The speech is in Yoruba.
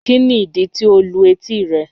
Kíni idí tí o lù etí rẹ̀?